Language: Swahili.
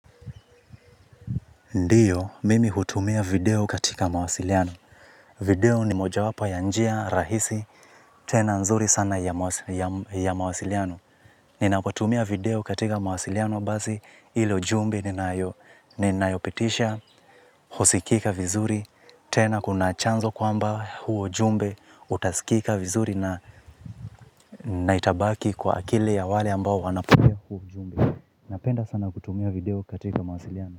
Ndiyo, mimi hutumia video katika mawasiliano. Video ni moja wapa ya njia rahisi, tena nzuri sana ya mawasiliano. Nina potumia video katika mawasiliano bazi ilo jumbe nina yopetisha, husikika vizuri, tena kuna chanzo kwamba huo jumbe, utasikika vizuri na naitabaki kwa akili ya wale ambao wanapudio. Napenda sana kutumia video katika mawasiliano.